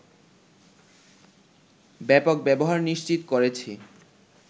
ব্যাপক ব্যবহার নিশ্চিত করেছি